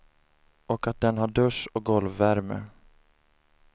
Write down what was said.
Och att den har dusch och golvvärme.